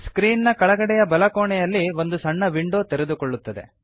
screen ನ ಕೆಳಗಡೆಯ ಬಲ ಕೋಣೆಯಲ್ಲಿ ಒಂದು ಸಣ್ಣ ವಿಂಡೋ ತೆರೆದುಕೊಳ್ಳುತ್ತದೆ